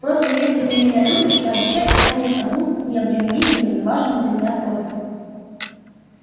просто если ты меня любишь пообещай исполнить одну необременительную но важную для меня просьбу